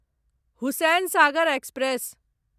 Hussain Sagar express